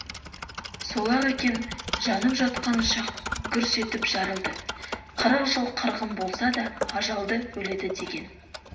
сол-ақ екен жанып жатқан ұшақ гүрс етіп жарылды қырық жыл қырғын болса да ажалды өледі деген